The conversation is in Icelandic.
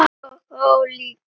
Miðað við aldur og þroska.